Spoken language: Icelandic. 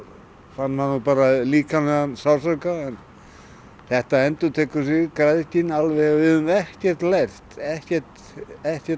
fann maður bara líkamlegan sársauka þetta endurtekur sig græðgin alveg við höfum ekkert lært ekkert ekkert